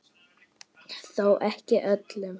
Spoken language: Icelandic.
Þó ekki öllum.